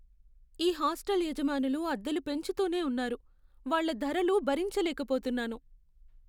ఈ హాస్టల్ యజమానులు అద్దెలు పెంచుతూనే ఉన్నారు, వాళ్ళ ధరలు భరించలేకపోతున్నాను.